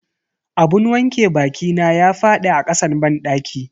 Abun wanke bakina ya fadi a kasan banɗaki.